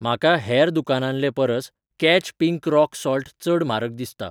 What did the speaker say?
म्हाका हेर दुकानांले परस कॅच पिंक रॉक सॉल्ट चड म्हारग दिसता